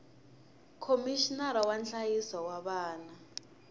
khomixinara wa nhlayiso wa vana